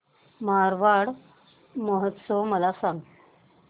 मारवाड महोत्सव मला सांग